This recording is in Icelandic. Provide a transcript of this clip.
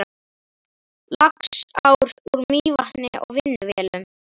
Laxár úr Mývatni og á vinnuvélum.